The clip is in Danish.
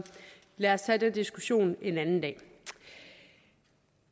lad os tage den diskussion en anden dag